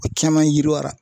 O caman yiriwara